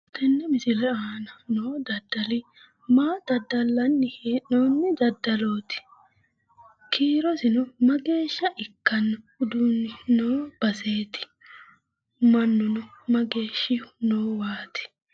Tenne misile aana noo daddali maa daddallanni hee'noonni daddalooti? kiirosino mageeshsha ikkanno uduunni noo baseeti? mannu mageeshshihu noowaaati?